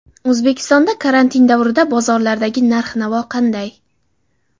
O‘zbekistonda karantin davrida bozorlardagi narx-navo qanday?